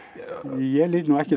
ég lít nú ekki